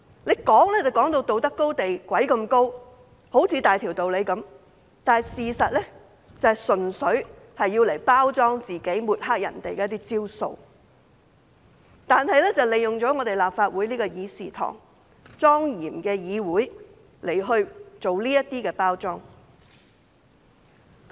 站在道德高地上說話，好像大條道理，事實上純粹是用來包裝自己、抹黑別人的招數，還利用立法會莊嚴的議事堂來包裝自己。